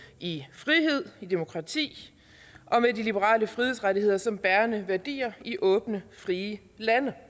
i frihed i demokrati og med de liberale frihedsrettigheder som bærende værdier i åbne frie lande